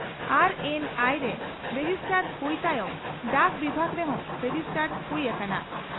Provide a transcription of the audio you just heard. RNI ᱨᱮ registered ᱦᱩᱭ ᱛᱟᱭᱚᱢ ᱰᱟᱠ ᱵᱤᱵᱷᱟᱜᱽ ᱨᱮᱦᱚᱸ ᱨᱮᱡᱤᱥᱴᱟᱰ ᱦᱩᱭ ᱟᱠᱟᱱᱟ ᱾